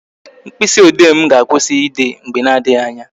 Mkpịsị ode m ga-akwụsị ide mgbe na adịghị anya